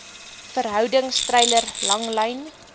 verhoudings treiler langlyn